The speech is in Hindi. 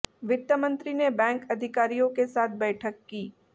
वित्त मंत्री ने बैंक अधिकारियों के साथ बैठक की